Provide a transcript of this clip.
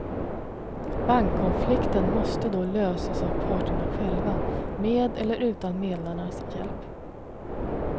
Bankkonflikten måste då lösas av parterna själva, med eller utan medlarnas hjälp.